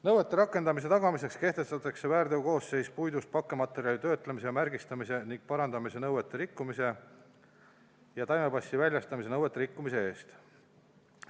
Nõuete rakendamise tagamiseks kehtestatakse väärteokoosseis puidust pakkematerjali töötlemise, märgistamise ning parandamise nõuete rikkumise ja taimepassi väljastamise nõuete rikkumise eest.